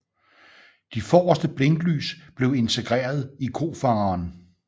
De forreste blinklys blev integreret i kofangeren